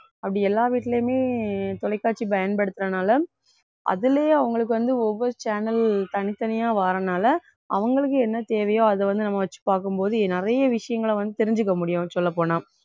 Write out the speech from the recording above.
அப்படி எல்லா வீட்டுலையுமே தொலைக்காட்சி பயன்படுத்தறதனால அதிலேயே அவங்களுக்கு வந்து ஒவ்வொரு channel தனித்தனியா வாரனால அவங்களுக்கு என்ன தேவையோ அதை வந்து நம்ம வச்சு பார்க்கும் போது நிறைய விஷயங்களை வந்து தெரிஞ்சுக்க முடியும் சொல்லப் போனா